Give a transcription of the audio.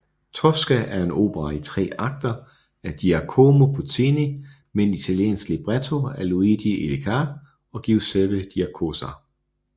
Tosca er en opera i tre akter af Giacomo Puccini med en italiensk libretto af Luigi Illica og Giuseppe Giacosa